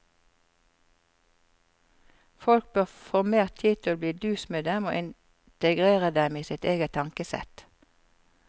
Folk bør få mer tid til å bli dus med dem og integrere dem i sitt eget tankesett.